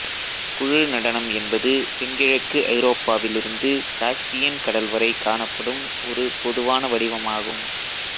குழு நடனம் என்பது தென்கிழக்கு ஐரோப்பாவிலிருந்து காஸ்பியன் கடல் வரை காணப்படும் ஒரு பொதுவான வடிவமாகும்